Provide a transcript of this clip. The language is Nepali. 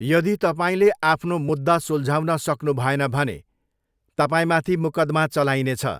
यदि तपाईँले आफ्नो मुद्दा सुल्झाउन सक्नुभएन भने तपाईँमाथि मुकदमा चलाइने छ।